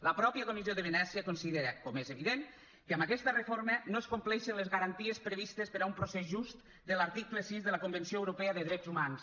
la mateixa comissió de venècia considera com és evident que amb aquesta reforma no es compleixen les garanties previstes per a un procés just de l’article sis de la convenció europea de drets humans